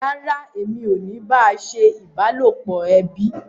Rárá, èmi ò bá a ṣe ìbálòpọ̀ ẹbí